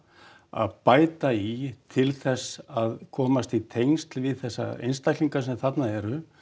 að bæta í til þess að komast í tengsl við þessa einstaklinga sem þarna eru